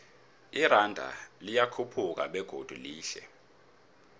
iranda liyakhuphuka begodu lehle